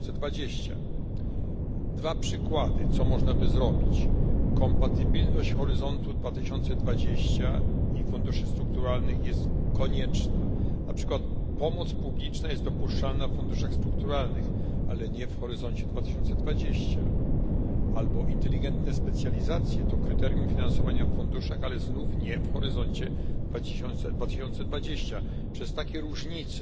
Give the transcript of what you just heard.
2020. Dwa przykłady, co można by zrobić kompatybilność Horyzontu 2020 i funduszy strukturalnych jest konieczna, na przykład pomoc publiczna jest dopuszczalna w funduszach strukturalnych, ale nie w Horyzoncie 2020 inteligentne specjalizacje to kryterium finansowania w funduszach, ale znów nie w Horyzoncie 2020. Między innymi przez takie różnice